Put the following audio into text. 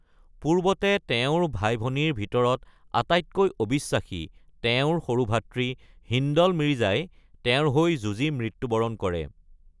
পূৰ্বতে তেওঁৰ ভাই-ভনীৰ ভিতৰত আটাইতকৈ অবিশ্বাসী তেওঁৰ সৰু ভাতৃ হিন্দল মিৰ্জাই তেওঁৰ হৈ যুঁজি মৃত্যু বৰণ কৰে।